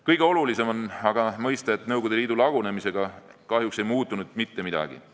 " Kõige olulisem on aga mõista, et Nõukogude Liidu lagunemisega ei muutunud kahjuks mitte midagi.